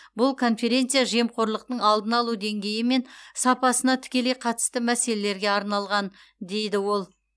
бұл конференция жемқорлықтың алдын алу деңгейі мен сапасына тікелей қатысты мәселелерге арналған дейді ол